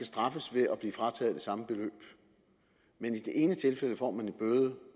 straffes ved at blive frataget det samme beløb men i det ene tilfælde får man en bøde